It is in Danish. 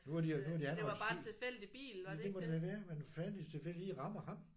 Nu har de nu har de anholdt 7 jamen det må det må det have været men fandens til det lige rammer ham